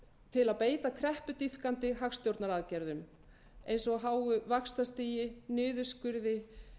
til að beita kreppudýpkandi hagstjórnaraðgerðum eins og háu vaxtastigi niðurskurði